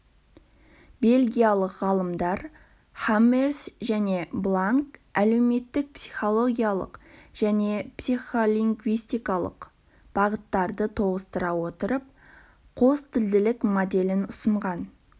бельгиялық ғалымдар хаммерс және бланк әлеуметтік-психологиялық және психолингвистикалық бағыттарды тоғыстыра отырып қостілділік моделін ұсынған